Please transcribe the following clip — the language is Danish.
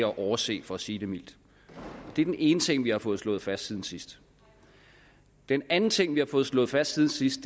at overse for at sige det mildt det er den ene ting vi har fået slået fast siden sidst den anden ting vi har fået slået fast siden sidst